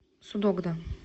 судогда